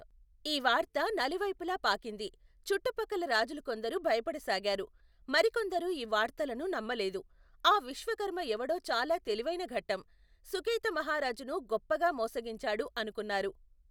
ఈ వార్త, నలువైపులా పాకింది చుట్టు పక్కల రాజులుకొందరు భయపడసాగారు, మరికొందరు ఈ వార్తలను నమ్మలేదు, ఆ విశ్వకర్మ యెవడో చాలా తెలివైనఘటం, సుకేతమహారాజును గొప్పగా మోసగించాడు అనుకున్నారు.